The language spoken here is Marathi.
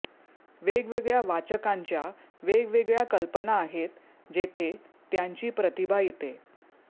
वेगवेगळ्या वाचकांच्या वेगवेगळ्या कल्पना आहेत जेथे त्यांची प्रतिभा येते